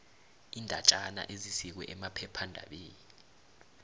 iindatjana ezisikwe emaphephandabeni